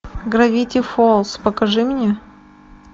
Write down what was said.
гравити фолз покажи мне